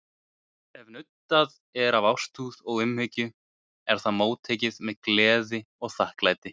Ef nuddað er af ástúð og umhyggju er það móttekið með gleði og þakklæti.